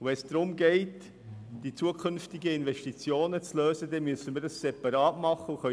Wenn es darum geht, Lösungen für zukünftige Investitionen zu finden, dann müssen wir das separat machen.